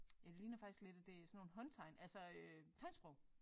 Ja det ligner faktisk lidt at det sådan nogle håndtegn altså øh tegnsprog